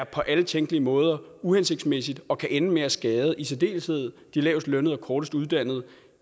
på alle tænkelige måder er uhensigtsmæssigt og kan ende med at skade i særdeleshed de lavest lønnede og kortest uddannede